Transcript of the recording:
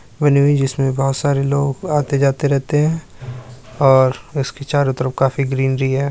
है जिसमें बहुुत सारे लोंग आते-जाते रहतें हैं और इसके चारो तरफ काफ़ी ग्रीनरी हैं।